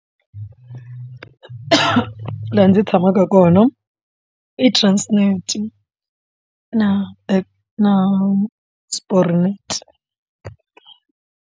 Laha ndzi tshamaka kona i transnet na na sporret.